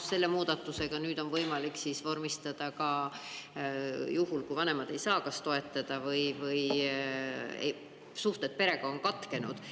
Selle muudatusega on võimalik ka juhul, kui vanemad ei saa kas toetada või suhted perega on katkenud.